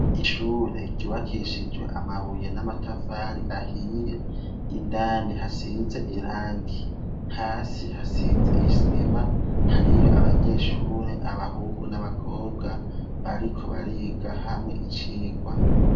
ishure ryiwakishijwe amabuye n'amatafari ahiye indani hasize irangi hasi hasize isima hariyo abanyeshure abahungu n'abakobwa bariko bariga hamwe icigwa